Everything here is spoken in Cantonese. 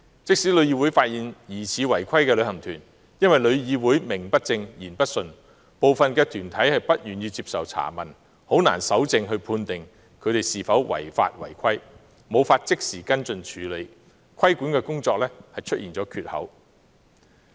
即使旅議會發現疑似違規旅行團，但也因旅議會名不正、言不順，部分團體不願意接受查問，以致難以搜證判定那些旅行團有否違法違規，更無法即時作跟進處理，致令規管工作出現缺口。